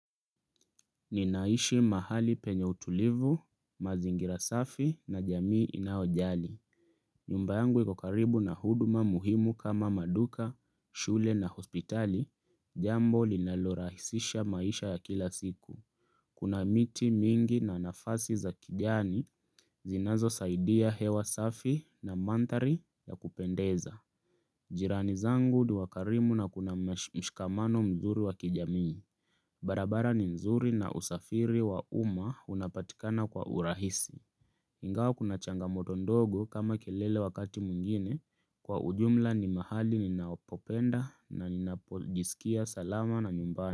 Ninaishi mahali penye utulivu, mazingira safi na jamii inaojali. Nyumba yangu ikokaribu na huduma muhimu kama maduka, shule na hospitali, jambo linalorahisisha maisha ya kila siku. Kuna miti mingi na nafasi za kijani zinazo saidia hewa safi na manthari ya kupendeza. Jirani zangu ni wakarimu na kuna mshikamano mzuri wa kijamii. Barabara ni nzuri na usafiri wa uma unapatikana kwa urahisi Ingawa kuna changamoto ndogo kama kelele wakati mwingine Kwa ujumla ni mahali ninapopenda na ninapojisikia salama na nyumbani.